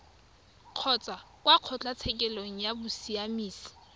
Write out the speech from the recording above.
kgotsa kwa kgotlatshekelo ya bosiamisi